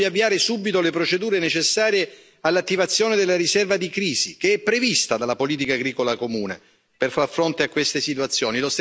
Chiediamo di avviare subito le procedure necessarie all'attivazione della riserva di crisi, che è prevista dalla politica agricola comune per far fronte a queste situazioni.